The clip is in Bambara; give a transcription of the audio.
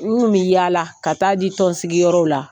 N kun bi yaala ka ta'a di tɔnsigiyɔrɔw la